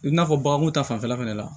I n'a fɔ baganko ta fanfɛla fana la